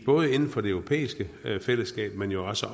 både inden for det europæiske fællesskab men jo også